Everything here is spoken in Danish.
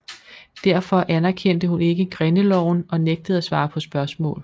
Derfor anerkendte hun ikke grindeloven og nægtede at svare på spørgsmål